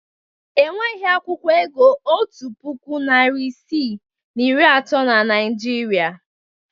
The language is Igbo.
Enweghị akwụkwọ ego otu puku, narị isii na iri atọ na Naịjirịa.